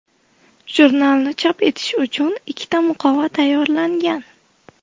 Jurnalni chop etish uchun ikkita muqova tayyorlangan.